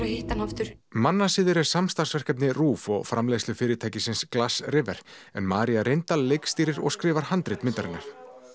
að hitta hann aftur mannasiðir er samstarfsverkefni RÚV og framleiðslufyrirtækisins Glassriver María reyndal leikstýrir og skrifar handrit myndarinnar